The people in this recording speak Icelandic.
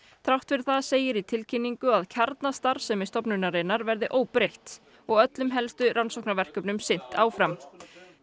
þrátt fyrir það segir í tilkynningu að kjarnastarfsemi stofnunarinnar verði óbreytt og öllum helstu rannsóknarverkefnum sinnt áfram